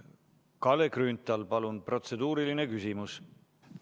Kalle Grünthal, palun protseduuriline küsimus!